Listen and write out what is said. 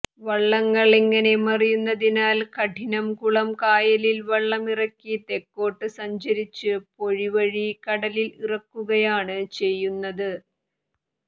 വള്ളങ്ങൾ ഇങ്ങനെ മറിയുന്നതിനാൽ കഠിനംകുളം കായലിൽ വള്ളമിറക്കി തെക്കോട്ടു സഞ്ചരിച്ച് പൊഴി വഴി കടലിൽ ഇറക്കുകയാണ് ചെയുന്നത്